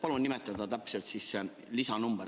Palun nimetada täpselt selle lisa number.